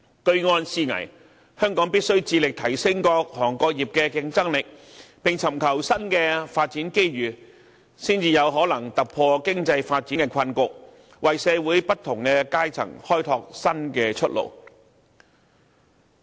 居安思危，香港必須致力提升各行各業的競爭力，並尋求新的發展機遇，才有可能突破經濟發展的困局，為社會不同階層開拓新出路。